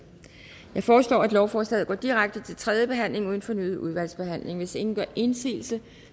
jeg foreslår at lovforslaget går direkte til tredje behandling uden fornyet udvalgsbehandling hvis ingen gør indsigelse